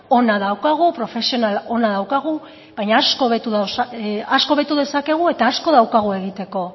ona daukagu profesional ona daukagu baina asko hobetu dezakegu eta asko daukagu egiteko